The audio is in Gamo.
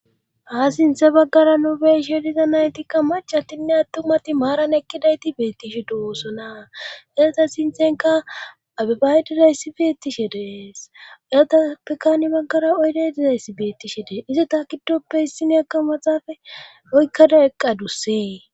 Ha sinthe baggara nu beshe diza naytikka macattinne attumati maaran ekkidayti beettishe de7oosona esata sinthenka abebaay dirayssi beettishe dees ayatappeka ni baggara oyde dizayssi beettishe dee izi taakidoppe hissineakka maxaafe oykkada eqqadussee.